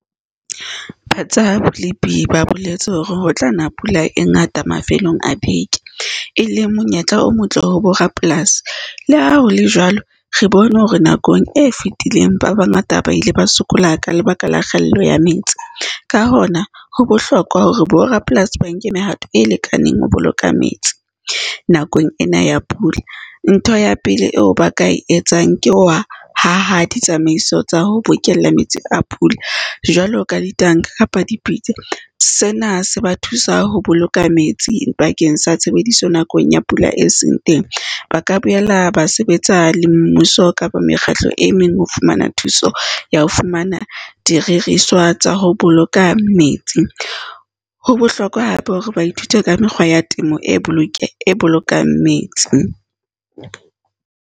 Tsa bolipi ba boletse hore ho tla na pula e ngata mafelong a beke, e leng monyetla o motle ho borapolasi. Le ha hole jwalo, re bone hore nakong e fetileng ba bangata ba ile ba sokola ka lebaka la kgaello ya metsi. Ka hona ho bohlokwa hore borapolasi ba nke mehato e lekaneng ho boloka metsi nakong ena ya pula. Ntho ya pele eo ba ka e etsang ke ditsamaiso tsa ho bokella metsi a pula jwalo ka ditanka kapa dipitsa. Sena se ba thusa ho boloka metsi bakeng sa tshebediso nakong ya pula e seng teng. Ba ka boela ba sebetsa le mmuso kapa mekgatlo e meng, ho fumana thuso ya ho fumana tsa ho boloka metsi. Ho bohlokwa hape hore ba ithute ka mekgwa ya temo e bolokang e bolokang metsi.